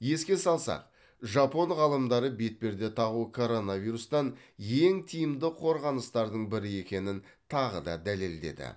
еске салсақ жапон ғалымдары бетперде тағу коронавирустан ең тиімді қорғаныстардың бірі екенін тағы да дәлелдеді